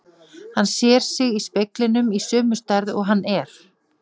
Hann sér sig í speglinum í sömu stærð og hann er.